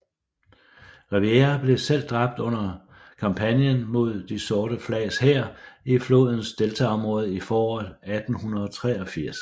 Rivière blev selv dræbt under kampagnen mod De sorte flags hær i flodens deltaområde i foråret 1883